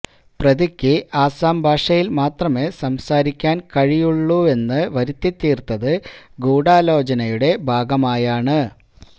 പ്രതിക്ക് ആസാം ഭാഷയില് മാത്രമേ സംസാരിക്കാന് കഴിയുള്ളൂവെന്ന് വരുത്തിത്തീര്ത്തത് ഗൂഢാലോചനയുടെ ഭാഗമായാണ്